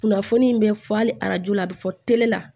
Kunnafoni in bɛ fɔ hali arajo la a bɛ fɔ tele la